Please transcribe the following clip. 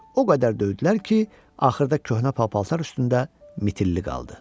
O qədər döydülər ki, axırda köhnə pal-paltar üstündə mitilli qaldı.